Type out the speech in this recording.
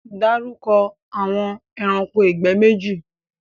Darúkọ̀ awọn ẹ̀ránkò igbẹ̀ méjì!